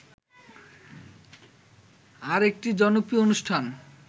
আরেকটি জনপ্রিয় অনুষ্ঠান